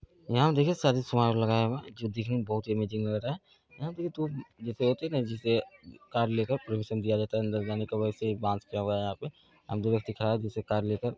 यहां देखिये शादी समारोह लगाया हुआ है जो दिखने में बहुत ही अमेजिंग लग रहा है | यहाँ पे जैसे होते हैं न जैसे कार लेकर पर्मीशन दिया जाता है अंदर जाने का वैसे ही बॉस किया गया है यहाँ पे | दिख रहा है जैसे कार ले कर --